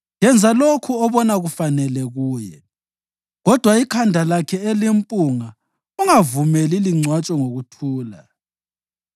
Yenza lokho obona kufanele kuye, kodwa ikhanda lakhe elimpunga ungavumeli lingcwatshwe ngokuthula.